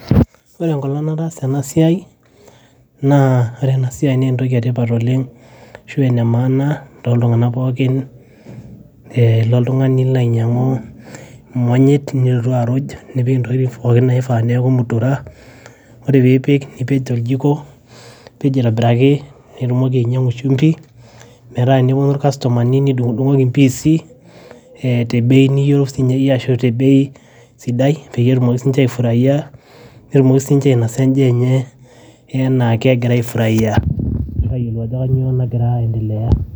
ore enkolong nataasa ena siai naa ore enasiai naa entoki etipat oleng ashu ene maana toltung'anak pookin eh ilo oltung'ani nilo ainyiang'u imonyit nilotu aruj nipik intokitin pookin naifaa neeku mutura ore piipik nipej toljiko nipej aitobiraki pitumoki ainyiang'u shumbi metaa teneponu irkastomani nidung'udung'oki impiisi eh te bei niyeu sinye iyie ashu te bei sidai peyie etumoki sinche aifuraia netumoki sinche ainasa enjaa enye enaake egira aifuraia ayiolou ajo kanyio nagira aendelea.